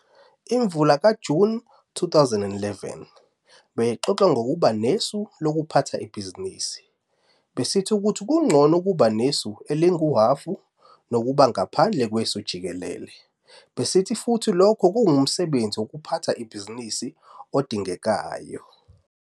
Imvula kaJuni 2011 beyixoxa ngokuba nesu lokuphatha ibhizinisi. Besithi ukuthi kungcono ukuba nesu elinguhhafu nokuba ngaphandle kwesu jikelele, besithi futhi lokhu kungumsebenzi wokuphatha ibhizinisi odingekayo.